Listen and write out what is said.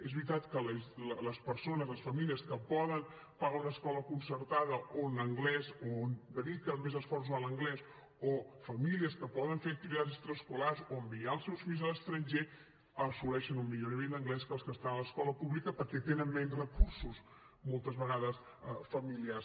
és veritat que les persones les famílies que poden pagar una escola concertada on dediquen més esforç a l’anglès o famílies que poden fer activitats extraescolars o enviar els seus fills a l’estranger assoleixen un millor nivell d’anglès que els que estan a l’escola pública perquè tenen menys recursos moltes vegades familiars